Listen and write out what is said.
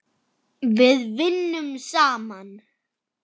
Við vinnum saman!